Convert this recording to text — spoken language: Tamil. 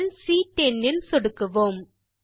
செல் சி10 இல் சொடுக்குவோம்